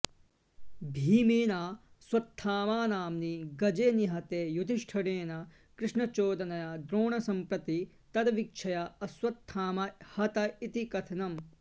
भीमेनाश्वत्थामनाम्नि गजे निहते युधिष्ठिरेण कृष्णचोदनया द्रोणम्प्रति तद्विवक्षया अश्वत्थामा हत इति कथनम्